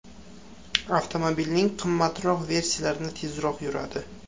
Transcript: Avtomobilning qimmatroq versiyalari tezroq yuradi.